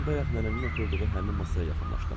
Mən bayaq nənənin oturduğu həmin masaya yaxınlaşdım.